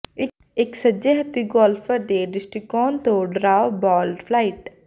ਇਕ ਸੱਜੇ ਹੱਥੀ ਗੋਲਫਰ ਦੇ ਦ੍ਰਿਸ਼ਟੀਕੋਣ ਤੋਂ ਡਰਾਅ ਬਾਲ ਫਲਾਈਟ